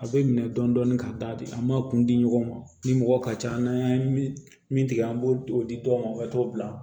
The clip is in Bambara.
A bɛ minɛ dɔɔnin dɔɔnin ka da di an m'a kun di ɲɔgɔn ma ni mɔgɔ ka ca n'a ye min tigɛ an b'o di dɔw ma u bɛ t'o bila